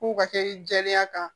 K'u ka kɛ i jɛlenya kan